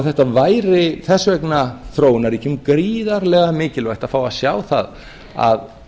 þetta væri þess vegna þróunarríkjum gríðarlega mikilvægt að fá að sjá það að